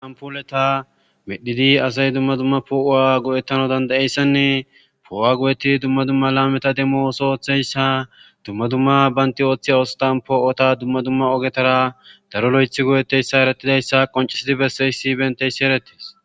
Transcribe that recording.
Anpuoleta medhidi asay dumma dumma poo'owa go'ettano dandayeyssanne poo'o'a go'eti dumma dumma laameta demmo oso oththeyssa dumma dumma baynti ooththiy oostan poo'ota dumma dumma ogetara daro lo'ethi go'etteyssa erettidayssa qoncisidi besseys sibenteyssi erettes.